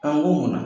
An ko munna